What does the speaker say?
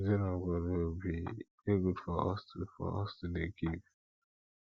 as children of god wey we be e dey good for us to for us to dey give